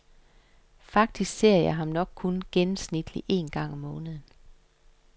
Faktisk ser jeg ham nok kun gennemsnitlig en gang om måneden.